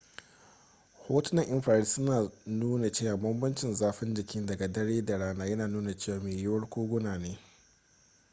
hotunan infrared suna nuna cewa bambancin zafin jiki daga dare da rana yana nuna cewa mai yiwuwa koguna ne